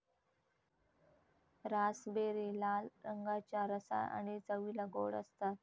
Raspberry लाल रंगाच्या, रसाळ आणि चवीला गोड असतात.